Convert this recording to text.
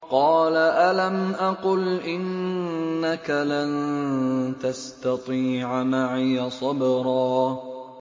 قَالَ أَلَمْ أَقُلْ إِنَّكَ لَن تَسْتَطِيعَ مَعِيَ صَبْرًا